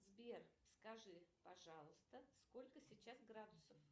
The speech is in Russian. сбер скажи пожалуйста сколько сейчас градусов